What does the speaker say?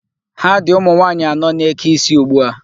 Ha dị ụmụ nwaanyị anọ na-eke isi ugbu a.